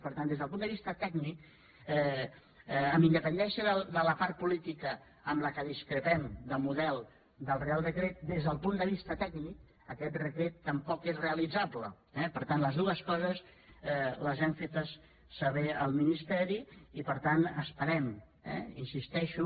per tant des del punt de vista tècnic amb independència de la part política en què discrepem de model del reial decret des del punt de vista tècnic aquest decret tampoc és realitzable eh per tant les dues coses les hem fetes saber al ministeri i per tant esperem hi insisteixo